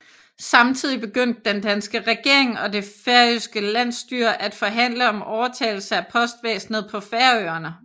Samtidig begyndte den danske regering og det færøske landsstyre at forhandle om overtagelse af postvæsenet på Færøerne